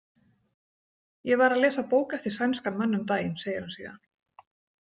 Ég var að lesa bók eftir sænskan mann um daginn, segir hann síðan.